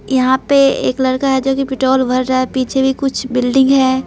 यहां पे एक लड़का हैजो कि पेट्रोल भर रहा है पीछे भी कुछ बिल्डिंग है।